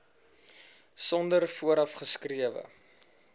sonder vooraf geskrewe